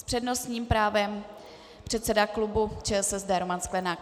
S přednostním právem předseda klubu ČSSD Roman Sklenák.